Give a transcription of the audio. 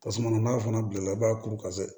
Tasuma n'a fana bila la i b'a kuru ka se